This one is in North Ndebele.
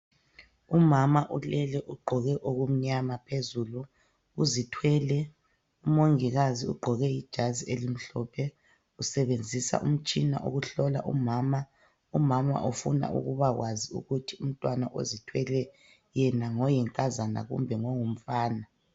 Umama ulele ugqoke okumnyama phezulu uzithwele umongikazi ugqoke ijazi elimhlophe, usebenzisa umtshina ukuhlola umama, umama ufuna ukuba kwazi ukuthi umntwana ozithwele yena ngoyinkazana kumbe ngongumfana.